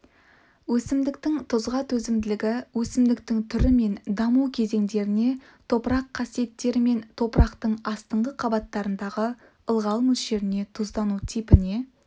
өсімдіктің тұзға төзімділігі өсімдіктің түрі мен даму кезеңдеріне топырақ қасиеттері мен топырақтың астыңғы қабаттарындағы ылғал мөлшеріне тұздану типіне